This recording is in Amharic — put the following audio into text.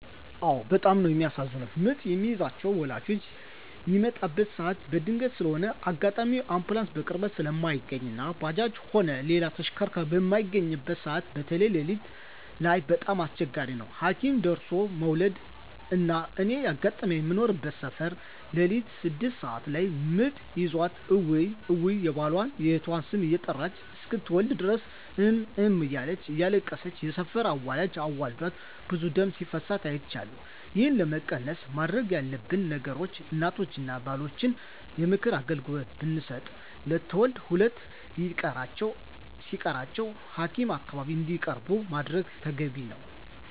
አዎ በጣም ነው የሚያሳዝኑት ምጥ የሚይዛቸው ወላጆች ሚመጣበት ሰዓት በድንገት ስለሆነ አጋጣሚ አንቡላንስ በቅርበት ስለማይገኝ እና ባጃጅም ሆነ ሌላ ተሽከርካሪ በማይገኝበት ሰዓት በተይ ለሊት ላይ በጣም አስቸጋሪ ነው ሀኪም ደርሦለ መዉለድ። እና እኔ ያጋጠመኝ ምኖርበት ሰፈር ለሊት ስድስት ሰዓት ላይ ምጥ ይዟት እውይ እውይ የባሏን፣ የእናቷን ስም እየጠራች እስክትወልድ ድረስ እም እም እያለች እያለቀሰች የሰፈር አዋላጅ አዋልዳት ብዙ ደም ሲፈሳት አይቻለሁ። ይህን ለመቀነስ መደረግ ያለበት ነገር እናቶችን እና ባሎችን የምክር አገልግሎት ብመስጠት ለትውልድ ሁለት ሲቀራቸው ሀኪም አካባቢ እንዲቀርቡ ማድረግ ተገቢ ነው።